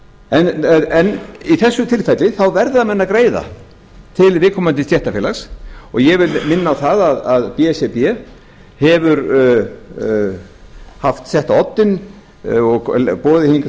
en í þessu tilfelli þá verða menn að greiða til viðkomandi stéttarfélags og ég vil minna á að b s r b hefur sett á oddinn og boðið hingað